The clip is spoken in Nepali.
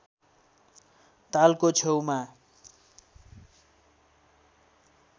तालको छेउमा